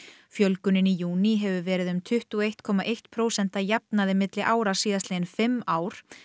fjölgunin í júní hefur verið tuttugu og einn komma eitt prósent að jafnaði milli ára síðastliðin fimm ár